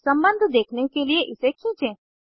सम्बन्ध देखने के लिए इसे खींचें